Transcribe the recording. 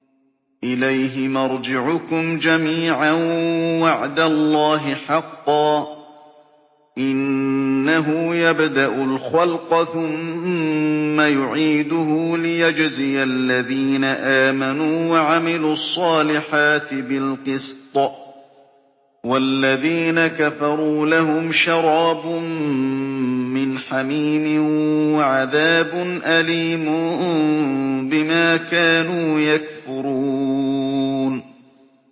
إِلَيْهِ مَرْجِعُكُمْ جَمِيعًا ۖ وَعْدَ اللَّهِ حَقًّا ۚ إِنَّهُ يَبْدَأُ الْخَلْقَ ثُمَّ يُعِيدُهُ لِيَجْزِيَ الَّذِينَ آمَنُوا وَعَمِلُوا الصَّالِحَاتِ بِالْقِسْطِ ۚ وَالَّذِينَ كَفَرُوا لَهُمْ شَرَابٌ مِّنْ حَمِيمٍ وَعَذَابٌ أَلِيمٌ بِمَا كَانُوا يَكْفُرُونَ